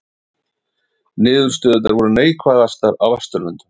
Niðurstöðurnar voru neikvæðastar á Vesturlöndum